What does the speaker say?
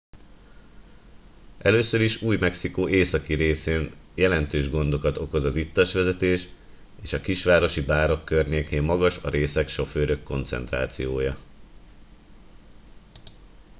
először is új mexikó északi részén jelentős gondokat okoz az ittas vezetés és a kisvárosi bárok környékén magas a részeg sofőrök koncentrációja